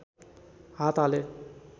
हात हाले